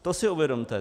To si uvědomte.